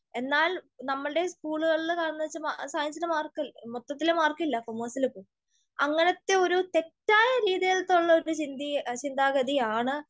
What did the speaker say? എന്നാൽ നമ്മൾടെ സ്കൂളുകളിൽ കാണുന്നതെന്നുവെച്ചാൽ സയൻസിന് മാർക്കില്ല, മൊത്തത്തില് മാർക്കില്ല, കൊമേഴ്സിൽ പോ. അങ്ങിനത്തെ ഒരു തെറ്റായ രീതിയിൽത്തുള്ളൊരു ചിന്താഗതി, ഇചിന്താഗതിയാണ്.